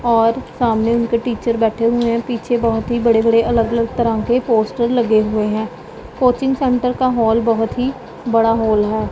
और सामने उनके टीचर बैठे हुए हैं पीछे बहोत ही बड़े बड़े अलग अलग तरह के पोस्टर लगे हुए हैं कोचिंग सेंटर का हाल बहोत ही बड़ा हॉल है।